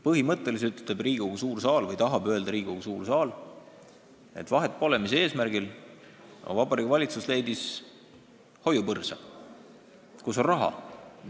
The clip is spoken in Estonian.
Põhimõtteliselt tahab Riigikogu suur saal öelda, et vahet pole, mis on eesmärk, aga Vabariigi Valitsus leidis hoiupõrsa, kus on raha.